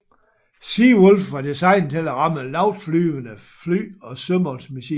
Sea Wolf var designet til at ramme lavtflyvende fly og sømålsmissiler